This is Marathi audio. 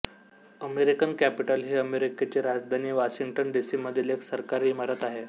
अमेरिकन कॅपिटल ही अमेरिकेची राजधानी वॉशिंग्टन डी सी मधील एक सरकारी इमारत आहे